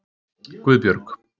Guðbjörg